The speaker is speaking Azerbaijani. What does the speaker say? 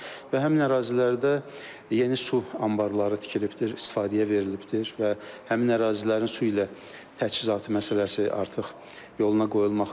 Və həmin ərazilərdə yeni su anbarları tikilibdir, istifadəyə verilibdir və həmin ərazilərin su ilə təchizatı məsələsi artıq yoluna qoyulmaqdadır.